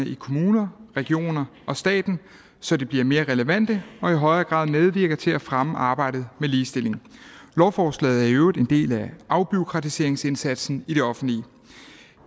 i kommuner regioner og staten så de bliver mere relevante og i højere grad medvirker til at fremme arbejdet med ligestilling lovforslaget er i øvrigt en del af afbureaukratiseringsindsatsen i det offentlige